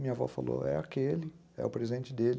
Minha avó falou, é aquele, é o presente dele.